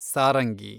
Sarangi